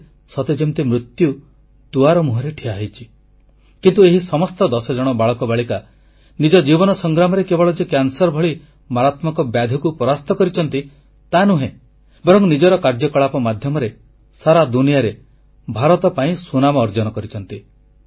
ଲାଗେ ସତେ ଯେମିତି ମୃତ୍ୟୁ ଦୁଆର ମୁହଁରେ ଠିଆ ହୋଇଛି କିନ୍ତୁ ଏହି ସମସ୍ତ ଦଶଜଣ ବାଳକବାଳିକା ନିଜ ଜୀବନ ସଂଗ୍ରାମରେ କେବଳ ଯେ କ୍ୟାନ୍ସର ଭଳି ମାରାତ୍ମକ ବ୍ୟାଧିକୁ ପରାସ୍ତ କରିଛନ୍ତି ତାନୁହେଁ ବରଂ ନିଜର କାର୍ଯ୍ୟକଳାପ ମାଧ୍ୟମରେ ସାରା ଦୁନିଆରେ ଭାରତ ପାଇଁ ସୁନାମ ଅର୍ଜନ କରିଛନ୍ତି